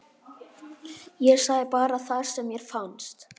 Ég sagði bara það sem mér fannst.